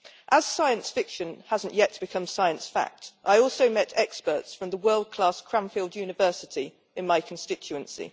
As science fiction hasn't yet become science fact, I also met experts from the world class Cranfield University in my constituency.